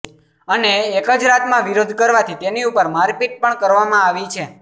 અને એક જ રાતમાં વિરોધ કરવાથી તેની ઉપર મારપીટ પણ કરવામાં આવી છે